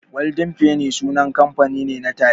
Golden penny sunan kamfani ne na taliya.